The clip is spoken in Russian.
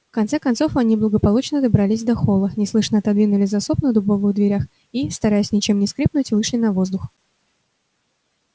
в конце концов они благополучно добрались до холла неслышно отодвинули засов на дубовых дверях и стараясь ничем не скрипнуть вышли на воздух